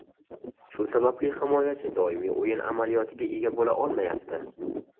Shu sababli himoyachi doimiy o‘yin amaliyotiga ega bo‘la olmayapti.